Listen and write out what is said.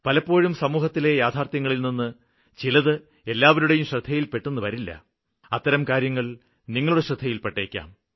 പലപ്പോഴും സമൂഹത്തിലെ യാഥാര്ത്ഥ്യങ്ങളില് ചിലത് എല്ലാവരുടേയും ശ്രദ്ധയില്പ്പെട്ടെന്ന് വരില്ല അത്തരം കാര്യങ്ങള് നിങ്ങളുടെ ശ്രദ്ധയില്പ്പെട്ടേയ്ക്കാം